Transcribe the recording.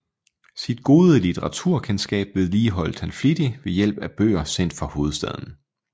Sit gode litteraturkendskab vedligeholdt han flittig ved hjælp af bøger sendt fra hovedstaden